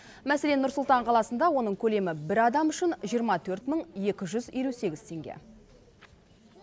мәселен нұр сұлтан қаласында оның көлемі бір адам үшін жиырма төрт мың екі жүз елу сегіз теңге